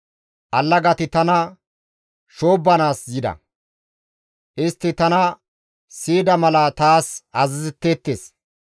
Allagati tana shoobbanaas yida; istti tana siyida mala taas azazetteettes.